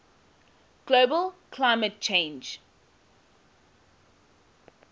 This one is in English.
global climate change